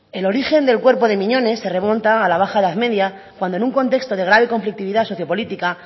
el origen del cuerpo de miñones se remonta a la baja edad media cuando en un contexto de grave conflictividad socio política